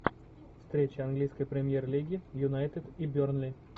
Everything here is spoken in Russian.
встреча английской премьер лиги юнайтед и бернли